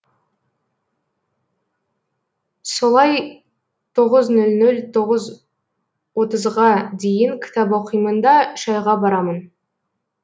солай тоғыз нөл нөл тоғыз отызға дейін кітап оқимын да шәйға барамын